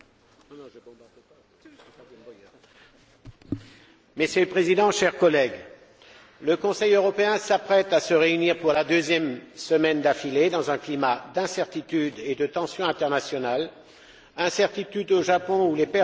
Monsieur le Président, chers collègues, le Conseil européen s'apprête à se réunir pour la deuxième semaine d'affilée dans un climat d'incertitudes et de tensions internationales incertitude au Japon, où les pertes humaines considérables sont encore difficiles à déterminer